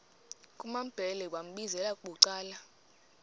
kumambhele wambizela bucala